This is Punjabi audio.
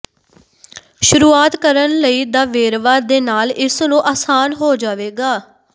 ਸ਼ੁਰੂਆਤ ਕਰਨ ਲਈ ਦਾ ਵੇਰਵਾ ਦੇ ਨਾਲ ਇਸ ਨੂੰ ਆਸਾਨ ਹੋ ਜਾਵੇਗਾ